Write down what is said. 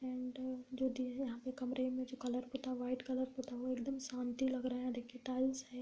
Paint है जो दिए यहाँ पे कमरे में जो कलर पूता है जो व्हाइट कलर पूता हुआ एकदम शांति लग रहा है देखिए टाइल्स है।